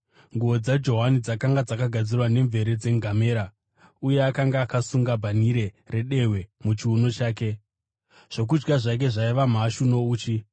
Nguo dzaJohani dzakanga dzakagadzirwa nemvere dzengamera uye akanga akasunga bhanhire redehwe muchiuno chake. Zvokudya zvake zvaiva mhashu nouchi.